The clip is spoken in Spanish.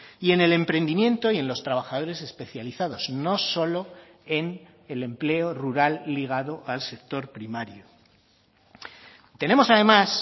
y en el emprendimiento y en los trabajadores especializados no solo en el empleo rural ligado al sector primario tenemos además